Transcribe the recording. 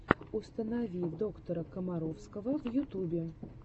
установи доктора комаровского в ютубе